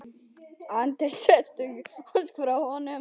Andri: Sérstök ósk frá honum?